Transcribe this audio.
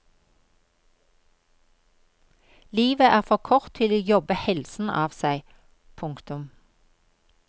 Livet er for kort til å jobbe helsen av seg. punktum